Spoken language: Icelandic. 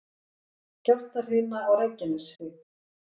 Skjálftahrina á Reykjaneshrygg